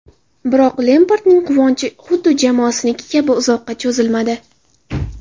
Biroq Lempardning quvonchi xuddi jamoasiniki kabi uzoqqa cho‘zilmadi.